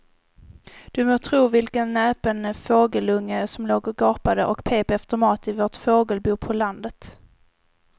Du må tro vilken näpen fågelunge som låg och gapade och pep efter mat i vårt fågelbo på landet.